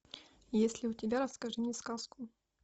есть ли у тебя расскажи мне сказку